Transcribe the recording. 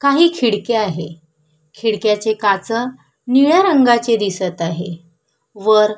काही खिडक्या आहे खिडक्याचे काच निळ्या रंगाचे दिसत आहे वर--